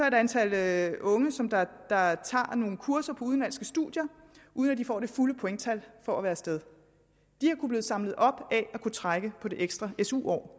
et antal unge som tager nogle kurser på udenlandske studier uden at de får det fulde pointtal for at være af sted de har kunnet blive samlet op af at kunne trække på det ekstra su år